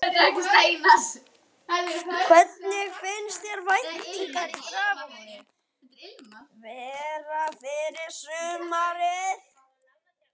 Hvernig finnst þér væntingarnar í Grafarvogi vera fyrir sumarið?